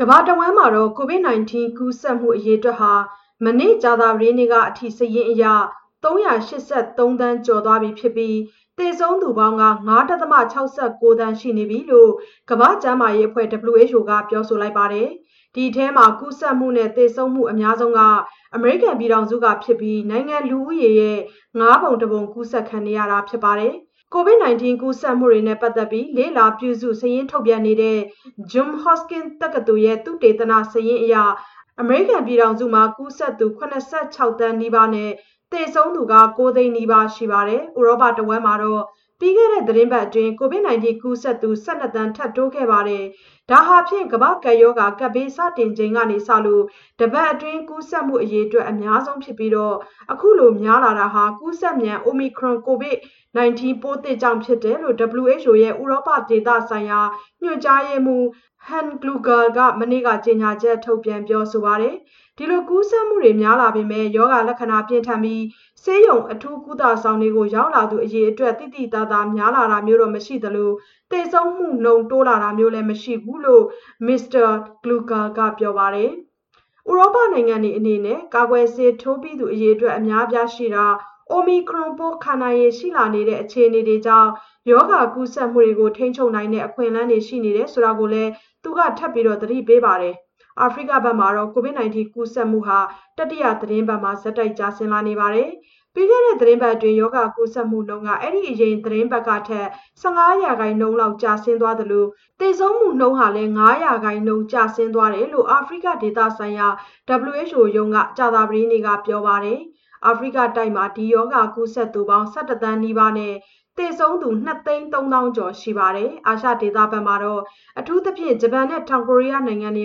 ကမ္ဘာတဝန်း COVID-19 ကူးစက်မှု အရေအတွက်ဟာ မနေ့က ကြာသပတေးနေ့အထိ စာရင်းအရ ၃၈၃ သန်း ကျော်သွားပြီဖြစ်ပြီး သေဆုံးသူပေါင်း ၅.၆၉ သန်း ရှိပြီလို့ လို့ ကမ္ဘာ့ကျန်းမာရေးအဖွဲ့ WHO က ပြောပါတယ်။ ဒီအထဲမှာ ကူးစက်မှု နဲ့ သေဆုံးမှု အများဆုံးက အမေရိကန်ပြည်ထောင်စု ဖြစ်ပြီး နိုင်ငံ လူဦးရေရဲ့ ၅ ပုံ ၁ ပုံ ကူးစက်ခံရတာ ဖြစ်ပါတယ်။ COVID-19 ကူးစက်မှုတွေနဲ့ ပတ်သက်ပြီး လေ့လာ ပြုစု စာရင်းထုတ်ပြန်နေတဲ့ Johns Hopkins တက္ကသိုလ် သုတေသနစာရင်းအရ အမေရိကန်ပြည်ထောင်စုမှာ ကူးစက်သူ ၇၆ သန်း နီးပါးနဲ့ သေဆုံးသူ ၉ သိန်းနီးပါး ရှိပါတယ်။ ဥရောပတဝန်းမှာတော့ ပြီးခဲ့တဲ့ သီတင်းပတ်အတွင်း COVID-19 ကူးစက်သူ ၁၂ သန်း ထပ်တိုး ခဲ့ပါတယ်။ ဒါဟာဖြင့် ကပ်ဘေး စတင်ချိန်ကစလို့ တပတ်အတွင်း ကူးစက်မှု အရေအတွက် အများဆုံး ဖြစ်ပြီး ခုလို များလာတာဟာ ကူးစက်မြန်တဲ့ အိုမီခရွန် ကိုရိုဗိုင်းရပ်စ် ပိုးသစ်ကြောင့် ဖြစ်တယ်လို့ WHO ရဲ့ ဥရောပ ဒေသဆိုင်ရာ ညွှန်ကြားရေးမှူး ဟန်း ကလူဂါ Hans Kluge က မနေ့က ကြေညာချက် ထုတ်ပြန် ပြောဆိုပါတယ်။ ဒီလို ကူးစက်မှုတွေ များလာပေမဲ့ ရောဂါ လက္ခဏာ ပြင်းထန်ပြီး ဆေးရုံ အထူးကုသ ဆောင်တွေကို ရောက်လာသူ အရေအတွက် သိသိသာသာ များလာတာမျိုးတော့ မရှိသလို၊ သေဆုံးမှုနှုန်း တိုးလာတာမျိုးလည်း မရှိဘူးလို့ မစ္စတာ Kluge က ပြောပါတယ်။ ဥရောနိုင်ငံတွေအနေနဲ့ ကာကွယ်ဆေးထိုးပြီးသူ အရေအတွက် အများအပြားရှိတာ၊ အိုမီခရွန်ပိုး ခံနိုင်ရည်ရှိလာနေတဲ့ အခြေအနေတွေကြောင့် ရောဂါကူးစက်မှုတွေကို ထိန်းချုပ်နိုင်တဲ့ အခွင့်အလမ်း ရှိနေတယ်ဆိုတာကိုလည်း သူက ထပ်မံ သတိပေးပါတယ်။ အာဖရိကမှာတော့ COVID-19 ကူးစက်မှုတွေ တတိယ သီတင်းပတ် ဆက်တိုက် ကျဆင်းလာပါတယ်။ ပြီးခဲ့တဲ့ သီတင်းပတ်အတွင်း ရောဂါကူးစက်မှုနှုန်းက အဲ့ဒီအရင် သီတင်းပတ်ကထက် ၁၅ % လောက် ကျဆင်းသွားသလို သေဆုံးမှုနှုန်း ဟာလည်း ၅ % ကျဆင်းသွားတယ်လို့ အာဖရိက ဒေသဆိုင်ရာ WHO ရုံးက ကြာသပတေးနေ့က ပြောပါတယ်။ အာဖရိကတိုက်မှာ ဒီရောဂါ ကူးစက်သူပေါင်း ၁၁ သန်းနီးပါးနဲ့ သေဆုံးသူ ၂ သိန်း ၃ သောင်းကျော် ရှိပါတယ်။ အာရှဒေသဘက်မှာတော့ အထူးသဖြင့် ဂျပန်နဲ့ တောင်ကိုရီးယား နိုင်ငံတွေ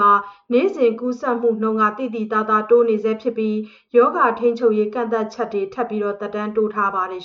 မှာ နေ့စဉ်ကူးစက်မှုနှုန်း သိသိသာသာ တိုးနေဆဲ ဖြစ်ပြီး ရောဂါ ထိန်းချုပ်ရေး ကန့်သတ်ချက်တွေ သက်တမ်းတိုး ထားပါတယ်